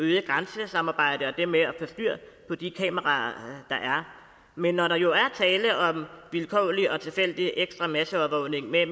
øgede grænsesamarbejde og det med at få styr på de kameraer der er men når der jo er tale om vilkårlig og tilfældig ekstra masseovervågning med